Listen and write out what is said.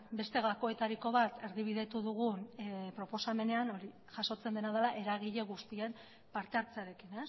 beste gakoetariko bat erdibidetu dugu proposamenean hori jasotzen dena da eragile guztien parte hartzearekin